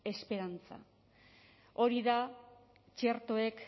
esperantza hori da txertoek